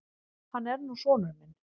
Hann er nú sonur minn.